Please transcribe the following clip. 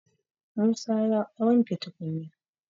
Musa ya wanke tukunya